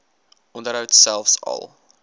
onderhoud selfs al